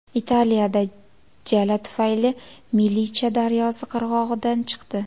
Italiyada jala tufayli Milicha daryosi qirg‘og‘idan chiqdi.